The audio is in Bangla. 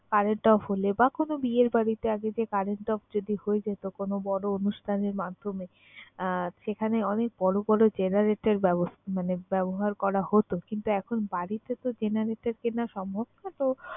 current off হলে বা কোন বিয়ের বাড়িতে আগে যে current off যদি হয়ে যেত কোন বড় অনুষ্ঠানের মাধ্যমে, আহ সেখানে অনেক বড় বড় generator ব্যবস~ মানে ব্যবহার করা হতো কিন্তু এখন বাড়িতে তো generator কেনা সম্ভব না তো